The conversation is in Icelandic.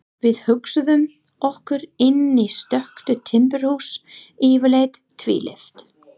Við hugsuðum okkur inn í stöku timburhús, yfirleitt tvílyft.